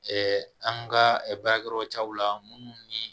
an ka baarakɛyɔrɔtaw la minnu ni